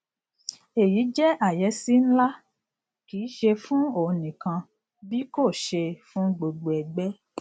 èyí jẹ àyẹsí ńlá kìí se fún òun nìkan bí kò ṣe fún gbogbo ẹgbẹ